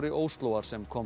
Óslóar sem komst